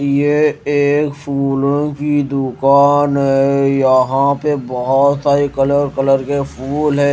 ये एक फूलों की दुकान है यहां पे बहोत सारे कलर कलर के फूल है।